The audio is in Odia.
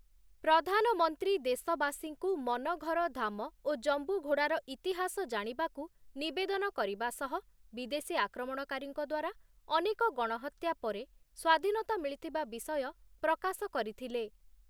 ପ୍ରଧାନମନ୍ତ୍ରୀ ଦେଶବାସୀଙ୍କୁ ମନଘର ଧାମ ଓ ଜମ୍ବୁଘୋଡ଼ାର ଇତିହାସ ଜାଣିବାକୁ ନିବେଦନ କରିବା ସହ ବିଦେଶୀ ଆକ୍ରମଣକାରୀଙ୍କ ଦ୍ୱାରା ଅନେକ ଗଣହତ୍ୟା ପରେ ସ୍ୱାଧୀନତା ମିଳିଥିବା ବିଷୟ ପ୍ରକାଶ କରିଥିଲେ ।